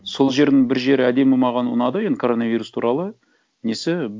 сол жердің бір жері әдемі маған ұнады енді коронавирус туралы несі